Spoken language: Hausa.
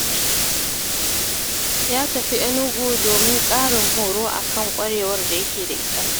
Ya tafi Enugu domin ƙarin horo a kan ƙwarewar da yake da ita.